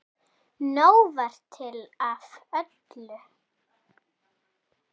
Nóg var til af öllu.